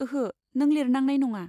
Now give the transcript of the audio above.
ओहो, नों लिरनांनाय नङा।